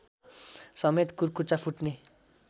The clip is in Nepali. समेत कुर्कुच्चा फुट्ने